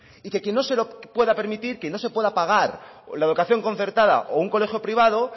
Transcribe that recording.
y quien no se lo pueda permitir quien no se pueda pagar la educación concertada o un colegio privado